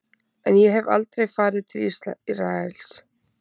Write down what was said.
En ég hef aldrei farið til Ísraels.